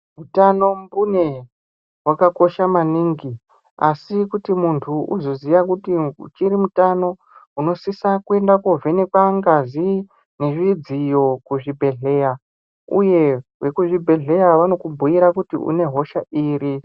Utano mbune, hwakakosha maningi asi kuti nuntu uzoziya kuti uchiri mutano unosisa kuenda kovhenekwa ngazi ,nezvidziyo kuzvibhedhleya uye vekuzvibhedhleya vanokubhuira kuti une hosha iri.